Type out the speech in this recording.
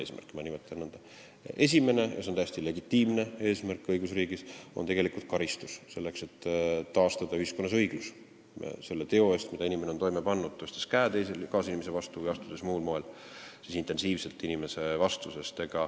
Esiteks, see on õigusriigis täiesti legitiimne eesmärk, on karistamine, selleks et taastada ühiskonnas õiglus, tuleb karistada inimest selle teo eest, mille ta oli toime pannud, tõstes käe kaasinimese vastu või astudes muul moel intensiivselt teise inimese vastu.